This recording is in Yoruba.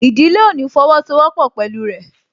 Ìdílé ò ní fọwọ́ sọ wọ́pọ̀ pẹ̀lú rẹ̀